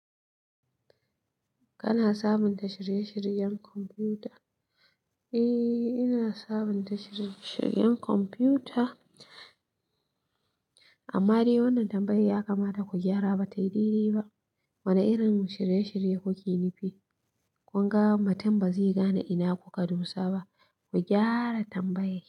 Kana sabunta shirye-shiryen kwamfuta? Eh ina sabunta shirye shiryen kwamfuta, amma dai wannan tambayar ya kamata ku gyara batayi daidai ba wane irin shirye-shirye kuke nufi? Kun ga mutun ba zai gane ina kuka dosa ba. Ku gyara tambayai.